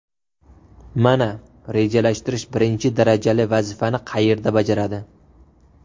Mana, rejalashtirish birinchi darajali vazifani qayerda bajaradi.